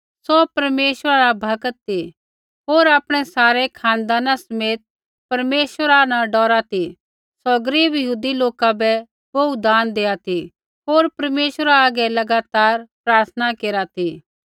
सौ परमेश्वरा रा भक्त ती होर आपणै सारै खानदाना समेत परमेश्वरा न डौरा ती सौ गरीब यहूदी लोका बै बोहू दान देआ ती होर परमेश्वरा आगै लगातार प्रार्थना केरा ती